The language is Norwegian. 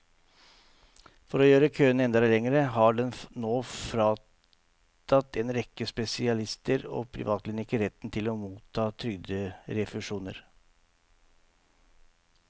For å gjøre køene enda lengre har den nå fratatt en rekke spesialister og privatklinikker retten til å motta trygderefusjoner.